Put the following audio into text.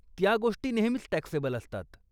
त्या गोष्टी नेहमीच टॅक्सेबल असतात.